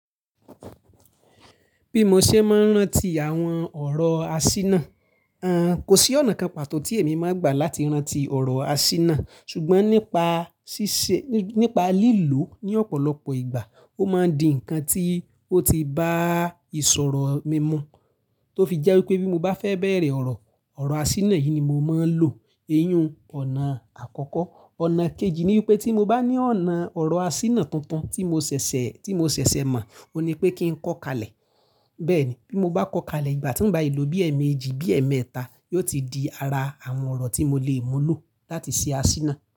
Bí mo ṣe máa ń rántí àwọn ọ̀rọ̀ aṣínà, ẹn, kò sí ọ̀nà kan pàtó tí èmi máa gbà láti rántí ọ̀rọ̀ aṣínà. Ṣùgbọ́n nípa ṣíṣe, nípa lílò ní ọ̀pọ̀lọpọ̀ ìgbà, ó máa di ǹkan tí ó ti bá ìṣòro mi mọ́, tó fi jẹ́ wípé bí mo bá fẹ́ bẹ̀rẹ̀ ọ̀rọ̀, ọ̀rọ̀ aṣínà yìí ni mo máa ń lò. Èyí uń ọ̀nà àkọ́kọ́. Ọ̀nà kejì ni wípé tí mo bá ní ọ̀nà ọ̀rọ̀ asínà tuntun tí mo sẹ̀sẹ̀, tí mo sẹ̀sẹ̀ mọ̀, ó ní pé kí n kọ́ kalẹ̀. Bẹ́ẹ̀ ni, bí mo bá kọ́ kalẹ̀, ìgbà tí ń ba e lò bí ẹ̀ẹ̀mẹjì, bí ẹ̀ẹ̀mẹta, yóò ti di ara àwọn ọ̀rọ̀ tí mo lè mú lò láti ṣe aṣínà.